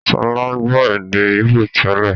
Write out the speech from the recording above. Sọlá gbọ́ èdè íbò tẹ́lẹ̀